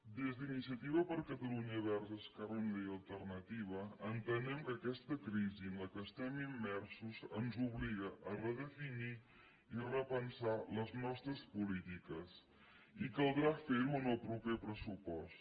des d’iniciativa per catalunya verds esquerra unida i alternativa entenem que aquesta crisi en què estem immersos ens obliga a redefinir i repensar les nostres polítiques i caldrà fer ho en el proper pressupost